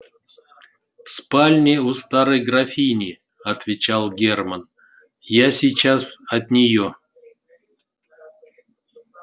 в спальне у старой графини отвечал германн я сейчас от нее